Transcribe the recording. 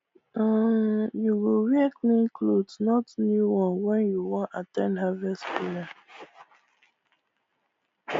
um you go wear clean cloth not new one when you wan at ten d harvest prayer